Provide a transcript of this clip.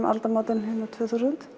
aldamótunum tvö þúsund